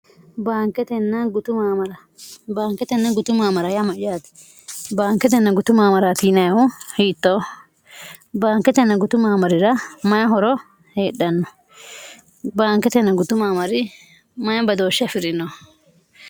bmbaanketenna gutu maamara yaamayaati baanketenna gutu maamara tiinehu hiittoo baanketenna gutu maamarira mayi horo heedhanno baanketen gutu maamari mayi badooshsha fi'rino